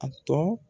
A tɔ